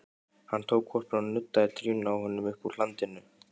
Hann tók hvolpinn og nuddaði trýninu á honum uppúr hlandinu.